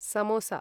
samosa